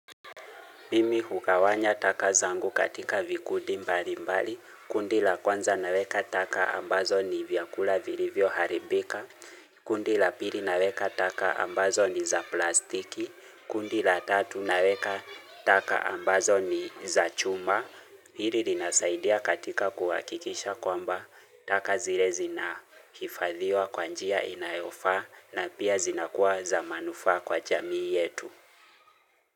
Mimi hukawanya taka zangu katika vikudi mbali mbali, kundi la kwanza naweka taka ambazo ni vyakula virivyoharibika, kundi la pili naweka taka ambazo ni za plastiki, kundi la tatu naweka taka ambazo ni za chuma. Hili linasaidia katika kuwakikisha kwamba taka zile zina hifadhiwa kwa njia inayofaa na pia zinakuwa za manufaa kwa jamii yetu.